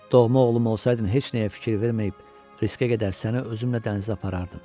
Doğma oğlum olsaydın heç nəyə fikir verməyib, riskə gedər səni özümlə dənizə aparardım.